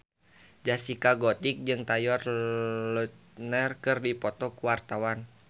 Zaskia Gotik jeung Taylor Lautner keur dipoto ku wartawan